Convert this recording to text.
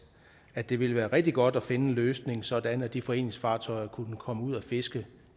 at det ville være rigtig godt at finde en løsning sådan at de foreningsfartøjer kunne komme ud at fiske